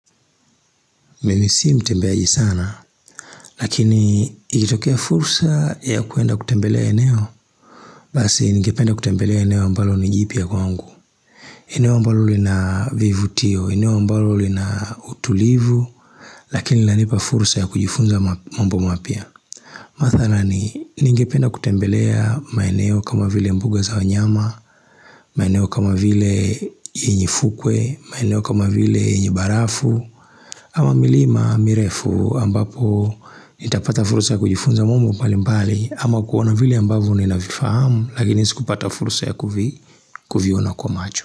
Mimi si mtembeaji sana, lakini ikitokea fursa ya kuenda kutembelea eneo. Basi, ningependa kutembelea eneo ambalo ni jipya kwangu. Eneo ambalo lina vivutio, eneo ambalo lina utulivu, lakini lanipa fursa ya kujifunza mambo mapya. Mathanani, ningependa kutembelea maeneo kama vile mbuga za wanyama, maeneo kama vile yenye fukwe, maeneo kama vile yenye barafu. Ama milima mirefu ambapo nitapata fursa ya kujifunza mambo mbalimbali, ama kuona vile ambavyo ninavifahamu, lakini sikupata fursa ya kuviona kwa macho.